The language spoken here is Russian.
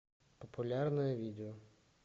популярные видео